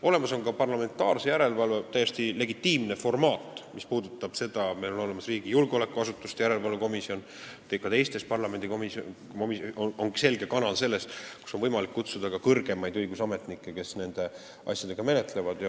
Olemas on ka parlamentaarse järelevalve täiesti legitiimne formaat, meil on olemas julgeolekuasutuste järelevalve erikomisjon ja ka teistes parlamendikomisjonides on olemas selge kanal selle jaoks, sinna on võimalik kutsuda ka kõrgemaid õigusametnikke, kes neid asju menetlevad.